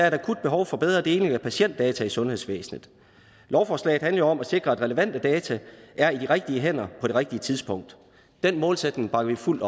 et akut behov for bedre deling af patientdata i sundhedsvæsenet lovforslaget handler jo om at sikre at relevante data er i de rigtige hænder på det rigtige tidspunkt den målsætning bakker vi fuldt